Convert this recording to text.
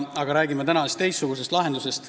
Aga räägime täna teistsugusest lahendusest.